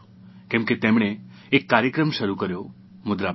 કે તેમણે એક કાર્યક્રમ શરૂ કર્યો મુદ્રા બેંક